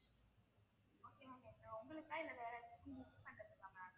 உங்களுக்கா இல்லை வேற யாருக்காவது gift பண்றதுக்கா ma'am